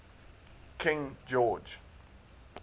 king george